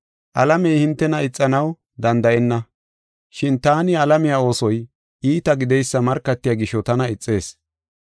Alamey hintena ixanaw danda7enna, shin taani alamiya oosoy iita gideysa markatiya gisho tana ixees.